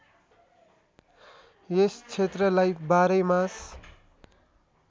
यस क्षेत्रलाई बाह्रैमास